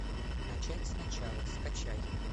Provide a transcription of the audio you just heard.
начать сначала скачай